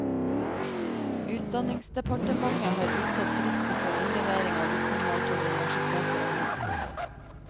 Utdanningsdepartementet har utsatt fristen for innlevering av vitnemål til universiteter og høyskoler.